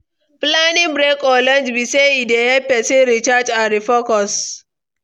Planning breaks or lunch be say e dey help pesin recharge and refocus.